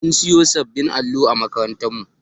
An siyo sabbin allo a makarantar mu